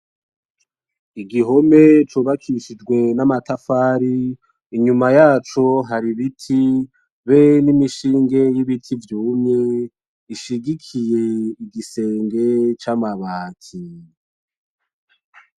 Igihome cubakishijwe n'amatafari inyuma yaco hari ibiti be n'imishinge y'ibiti vyumye ishigikiye igisenge c'amabati .